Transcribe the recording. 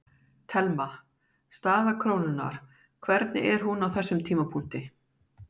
Telma: Staða krónunnar, hvernig er hún á þessum tímapunkti?